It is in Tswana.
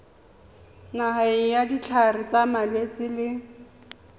nayang ditlhare tsa malwetse le